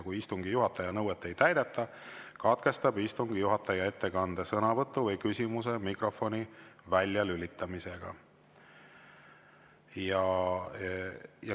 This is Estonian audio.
Kui istungi juhataja nõuet ei täideta, katkestab istungi juhataja ettekande, sõnavõtu või küsimuse mikrofoni väljalülitamisega.